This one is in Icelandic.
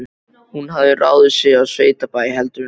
Hún hafði ráðið sig á sveitabæ heldur en ekkert.